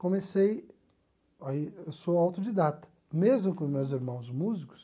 Comecei, aí eu sou autodidata, mesmo com meus irmãos músicos,